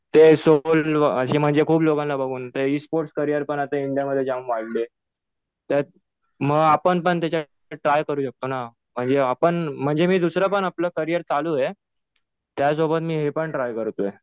ते अशी म्हणजे खूप लोकांना बघून ते इस्पोर्ट करीयर पण आता इंडियामध्ये जाम वाढलेत. तर मग आपण पण त्याच्यात ट्राय करू शकतो ना. म्हणजे आपण म्हणजे मी दुसरं पण आपलं करीयर चालू आहे. त्यासोबत मी हे पण ट्राय करतोय.